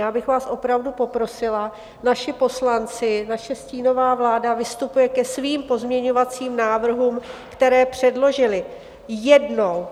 Já bych vás opravdu poprosila, naši poslanci, naše stínová vláda vystupují ke svým pozměňovacím návrhům, které předložili, jednou.